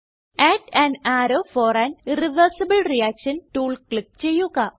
add an arrow for an irreversible reaction tool click ചെയ്യുക